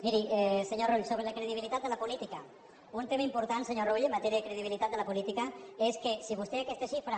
miri senyor rull sobre la credibilitat de la política un tema important senyor rull en matèria de credibilitat de la política és que si vostè aquesta xifra